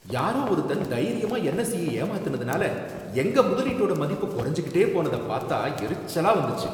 யாரோ ஒருத்தன் தைரியமா என்எஸ்ஈ ய ஏமாத்துனதுனால எங்க முதலீட்டோட மதிப்பு குறைஞ்சுகிட்டே போனதை பாத்தா எரிச்சலா வந்துச்சு.